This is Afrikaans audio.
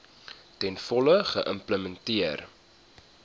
ten volle geïmplementeer